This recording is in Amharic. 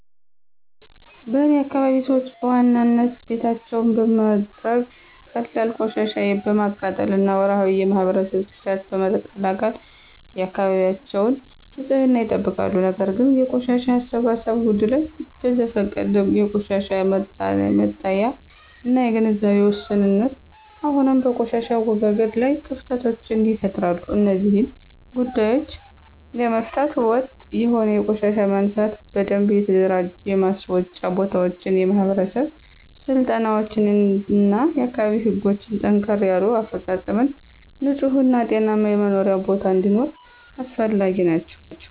በእኔ አካባቢ ሰዎች በዋናነት ቤታቸውን በመጥረግ፣ ቀላል ቆሻሻ በማቃጠል እና ወርሃዊ የማህበረሰብ ጽዳትን በመቀላቀል የአካባቢያቸውን ንፅህና ይጠብቃሉ። ነገር ግን የቆሻሻ አሰባሰብ ጉድለት፣ በዘፈቀደ የቆሻሻ መጣያ እና የግንዛቤ ውስንነት አሁንም በቆሻሻ አወጋገድ ላይ ክፍተቶችን ይፈጥራሉ። እነዚህን ጉዳዮች ለመፍታት ወጥ የሆነ የቆሻሻ ማንሳት፣ በደንብ የተደራጁ የማስወጫ ቦታዎች፣ የማህበረሰብ ስልጠናዎች እና የአካባቢ ህጎችን ጠንከር ያለ አፈፃፀም ንፁህ እና ጤናማ የመኖሪያ ቦታ እንዲኖር አስፈላጊ ናቸው።